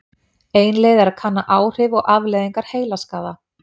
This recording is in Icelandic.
Ein leið er að kanna áhrif og afleiðingar heilaskaða.